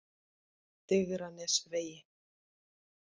Digranesvegi